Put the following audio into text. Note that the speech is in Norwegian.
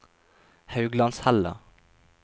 Hauglandshella